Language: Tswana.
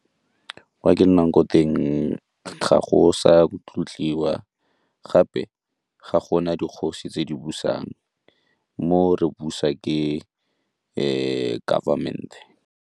Kwa ke nnang ko teng ga go sa tlotliwa gape ga gona dikgosi tse di busang, mo re busa ke government-e.